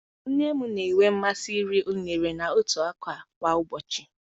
Nne m na-enwe mmasị iri unere na ntụ ọka kwa ụbọchị.